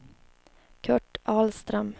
Curt Ahlström